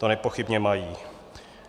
To nepochybně mají.